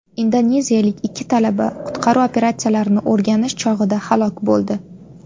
Indoneziyalik ikki talaba qutqaruv operatsiyalarini o‘rganish chog‘ida halok bo‘ldi.